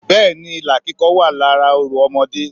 Bẹ́ẹ̀ni ilà kíkọ wà lára orò ọmọdé